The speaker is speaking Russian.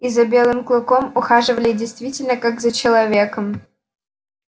и за белым клыком ухаживали действительно как за человеком